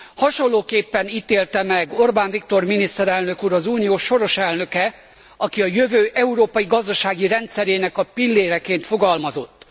Hasonlóképpen ítélte meg Orbán Viktor miniszterelnök úr, az Unió soros elnöke, aki a jövő európai gazdasági rendszerének a pilléreként fogalmazott.